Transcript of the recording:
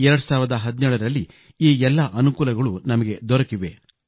2017 ರಲ್ಲಿ ಈ ಎಲ್ಲ ಅನುಕೂಲಗಳು ನಮಗೆ ದೊರೆತಿವೆ